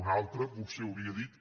un altre potser hauria dit